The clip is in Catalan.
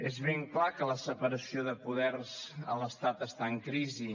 és ben clar que la separació de poders a l’estat està en crisi